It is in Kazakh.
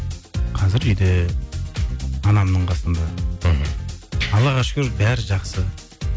қазір үйде анамның қасында мхм аллаға шүкір бәрі жақсы